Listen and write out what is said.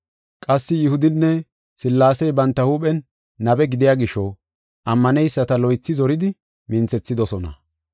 Qassi Yihudinne Sillaasey banta huuphen nabe gidiya gisho ammaneyisata loythi zoridi minthethidosona.